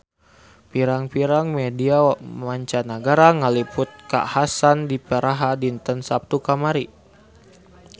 Pirang-pirang media mancanagara ngaliput kakhasan di Praha dinten Saptu kamari